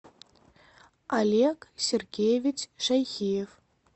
олег сергеевич шайхиев